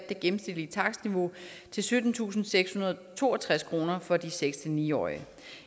gennemsnitlige takstniveau til syttentusinde og sekshundrede og toogtreds kroner for de seks ni årige